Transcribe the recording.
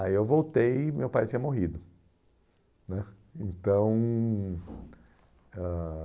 Aí eu voltei e meu pai tinha morrido né então ãh